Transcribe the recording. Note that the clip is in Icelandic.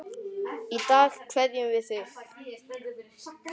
Í dag kveðjum við þig.